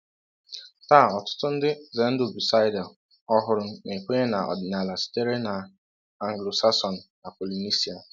Taa ọtụtụ ndị ZeNdubuisider ọhụrụ na-ekwenye n’ọdịnala sitere na Anglo-Saxon na Polynesia.